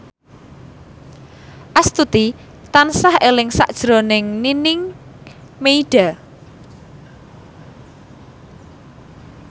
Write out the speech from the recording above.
Astuti tansah eling sakjroning Nining Meida